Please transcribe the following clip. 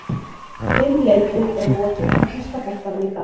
Fimm leikjum er lokið í þýska boltanum í dag.